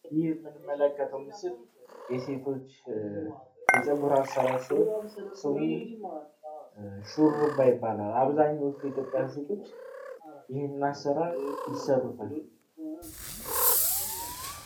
ይህ ምንመለከተው ምስል የሴቶች የፀጉር አሰራር ሲሆን ስሙ ሹሩባ ይባላል። አብዛኞቹ የ ኢትዮጵያ ሴቶች ይህን አሰራር ይሰሩታል።